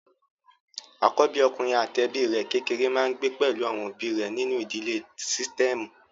Àkóbí ọkùnrin àti ẹbí rẹ̀ kékéré máa ń gbé pẹ̀lú àwọn òbí rẹ̀ nínú ìdílé sítẹ́ẹ̀mù.